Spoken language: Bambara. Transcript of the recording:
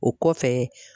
O kɔfɛ